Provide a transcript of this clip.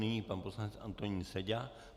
Nyní pan poslanec Antonín Seďa.